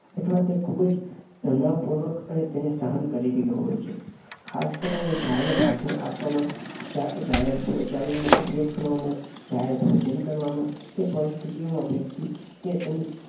અથવા તો ખૂબ જ તનાવપૂર્વક તેને સહન કરી રહ્યો હોય છે. ખાસ કરીને જાહેર ભાષણ આપવામાં, જાહેર શૌચાલયનો ઉપયોગ કરવામાં, જાહેર ભોજન કરવામાં વગેરે પરિસ્થિતિઓમાં વ્યક્તિ તે તેની